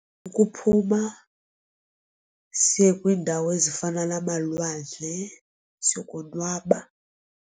Kukuphuma siye kwiindawo ezifana namalwandle siyokonwaba.